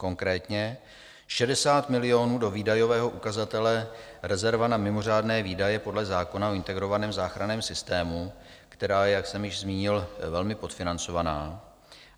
Konkrétně 60 milionů do výdajového ukazatele rezerva na mimořádné výdaje podle zákona o integrovaném záchranném systému, která je, jak jsem již zmínil, velmi podfinancovaná.